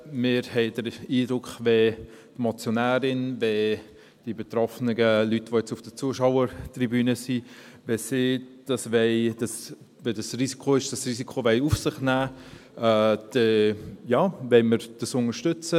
Wir haben den Eindruck, wenn die Motionärin und die betroffenen Leute, die jetzt auf der Zuschauertribüne sind, dieses Risiko auf sich nehmen wollen, dann ja, dann wollen wir dies unterstützen.